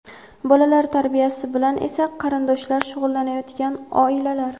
bolalar tarbiyasi bilan esa qarindoshlar shug‘ullanayotgan oilalar;.